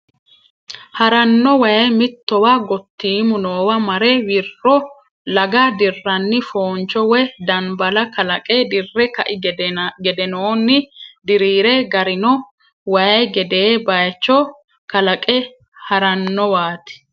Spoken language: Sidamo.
Haranno waay mittowa gottiimu noowa mare wirro laga dirranni fooncho woy danbala kalaqe dirre kai gedenoonni diriire garino waay gedee baayicho kalaqe harannowaati.